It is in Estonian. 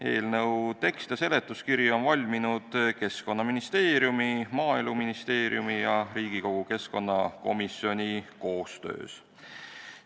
Eelnõu tekst ja seletuskiri on valminud Keskkonnaministeeriumi, Maaeluministeeriumi ja Riigikogu keskkonnakomisjoni koostöös.